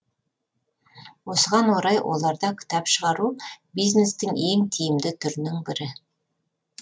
осыған орай оларда кітап шығару бизнестің ең тиімді түрінің бірі